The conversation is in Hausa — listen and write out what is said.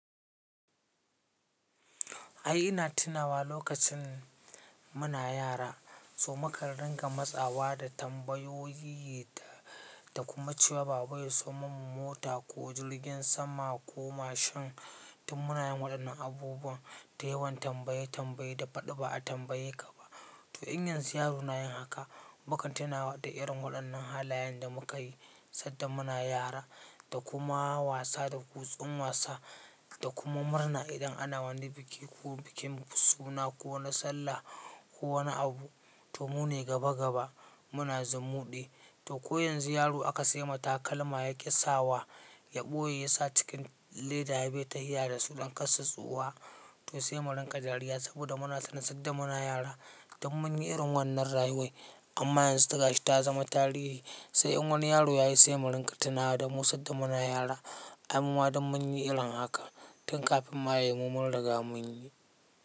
Ai ina tunawa lokacin muna yara so mukan rinƙa matsawa da tambayoyi ta da kuma cewa baba ya siyo mun mota ko jirgin sama ko mashin tin muna yin waɗannan abubuwan da yawan tambaye tambaye da faɗi ba a tambaye ka ba. To in yanzu yaro na yin haka, mukan tuna da irin waɗannan halayen da muka yi sanda muna yara da kuma wasa da kutsun wasa da kuma murna idan ana wani biki ko bikin suna ko na sallah ko wani abu, to mu ne gaba gaba muna zumuɗi. To ko yanzu yaro aka sai ma takalma ya yaƙi sawa, ya ɓoye ya sa cikin leda ya bai tahiya da su don kar su tsufa, to sai mu rinƙa dariya saboda muna tuna sanda muna yara dun mun yi irin wannan rayuwar amma yanzu ta gashi ta zama tarihi. Sai in wani yaro ya yi sai mu rinƙa tunawa da mu sanda muna yara, ai mu ma dun mun yi irin haka tun kafin ma ya yi mu mun riga mun yi.